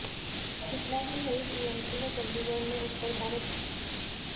इतना ही नहीं टीएमसी ने चंडीगढ़ में उत्तर भारत